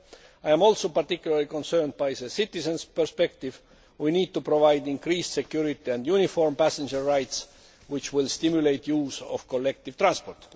etc. I am also particularly concerned about the citizens' perspective. We need to provide increased security and uniform passenger rights which will stimulate the use of collective transport.